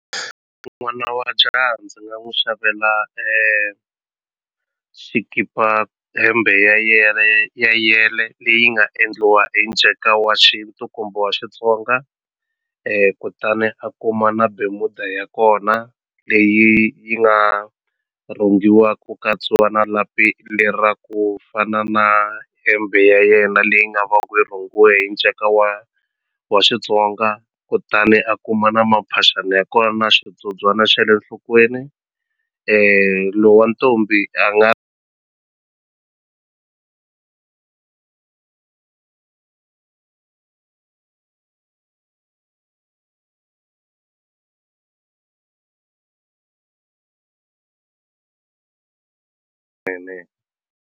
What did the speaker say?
N'wana wa jaha ndzi nga n'wi xavela xikipa hembe ya ya yele leyi nga endliwa hi nceka wa xintu kumbe wa Xitsonga kutani a kuma na bemuda ya kona leyi yi nga rhungiwa ku katsiwa na lapi lera ku fana na hembe ya yena leyi nga va ku yi rhungiwe hi nceka wa wa Xitsonga kutani a kuma na maphaxani ya kona na xibyobyana xa le nhlokweni lo wa ntombi a nga .